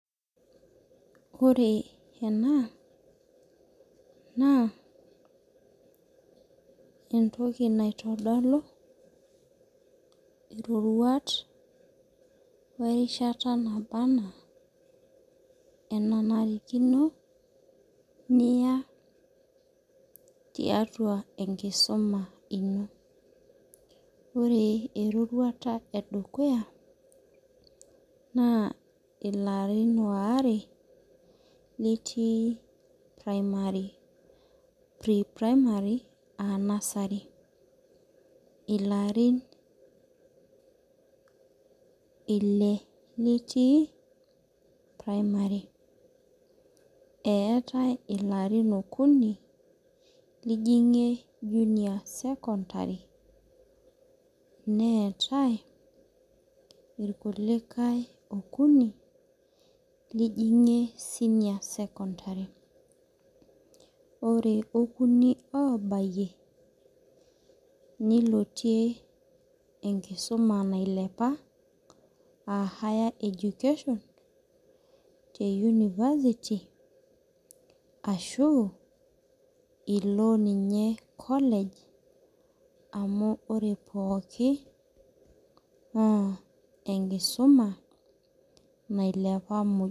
Ore ena naa entoki naitodolu iroruat orishata naba enaa enanarikinoino ore ero niya tiatua enkuduma tenkisuma aa nusrsety ilarim ile litiui primary eetai ilarin okuni